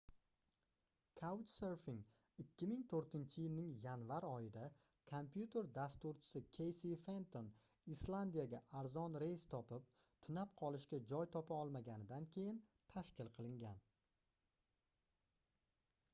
couchsurfing 2004-yilning yanvar oyida kompyuter dasturchisi keysi fenton islandiyaga arzon reys topib tunab qolishga joy topa olmaganidan keyin tashkil qilingan